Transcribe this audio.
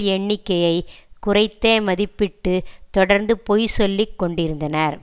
எண்ணிக்கையை குறைத்தே மதிப்பிட்டு தொடர்ந்து பொய்சொல்லிக் கொண்டிருந்தனர்